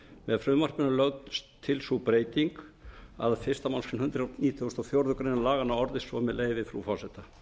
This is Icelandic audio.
með frumvarpinu er lögð til sú breyting að fyrstu grein hundrað nítugasta og fjórðu grein laganna orðast svo með leyfi frú forseta